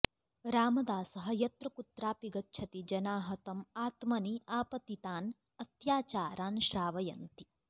रामदासः यत्र कुत्रापि गच्छति जनाः तम् आत्मनि आपतितान् अत्याचारान् श्रावयन्ति